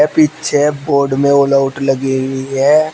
पीछे बोर्ड में ऑलआउट लगी हुई है।